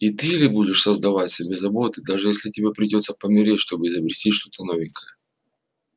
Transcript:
и ты ли будешь создавать себе заботы даже если тебе придётся помереть чтобы изобрести что-то новенькое